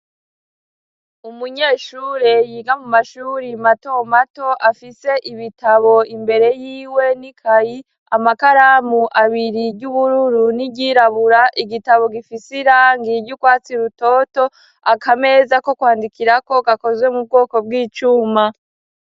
Umunyeshure yiga mu mashuri mato mato afise ibitabo imbere y'iwe n' ikayi, amakaramu abiri jy'ubururu n'iryirabura. Igitabo gifise irangi ry'urwatsi rutoto, akameza ko kwandikirako gakozwe mu bwoko bw'icuma.